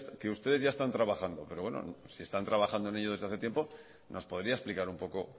que ustedes ya están trabajando pero bueno si están trabajando en ello desde hace tiempo nos podría explicar un poco